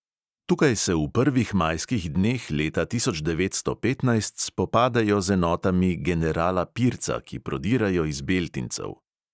Tukaj se v prvih majskih dneh leta tisoč devetsto petnajst spopadejo z enotami generala pirca, ki prodirajo iz beltincev.